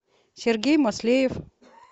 сергей маслеев